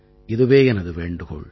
இதுவே எனது வேண்டுகோள்